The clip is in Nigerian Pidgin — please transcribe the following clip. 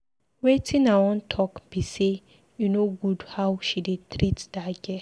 Wetin I wan talk be say e no good how she dey treat that girl